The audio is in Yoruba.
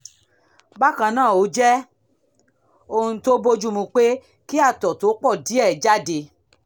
bákan náà ó jẹ́ ohun tó bójúmu pé kí àtọ̀ tó pọ̀ díẹ̀ jáde